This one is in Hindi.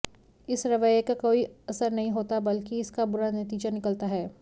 इस रवैए का कोई असर नहीं होता बल्कि इसका बुरा नतीजा निकलता है